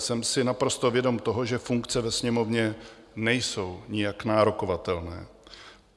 Jsem si naprosto vědom toho, že funkce ve Sněmovně nejsou nijak nárokovatelné.